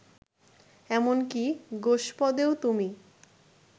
এমন কি গোষ্পদেও তুমি